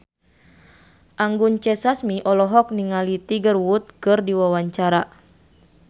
Anggun C. Sasmi olohok ningali Tiger Wood keur diwawancara